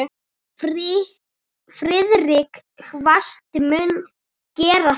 Friðrik kvaðst mundu gera það.